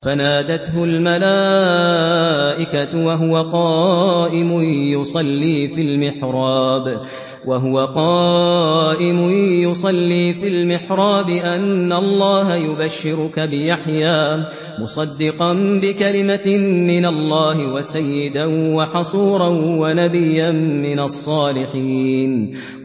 فَنَادَتْهُ الْمَلَائِكَةُ وَهُوَ قَائِمٌ يُصَلِّي فِي الْمِحْرَابِ أَنَّ اللَّهَ يُبَشِّرُكَ بِيَحْيَىٰ مُصَدِّقًا بِكَلِمَةٍ مِّنَ اللَّهِ وَسَيِّدًا وَحَصُورًا وَنَبِيًّا مِّنَ الصَّالِحِينَ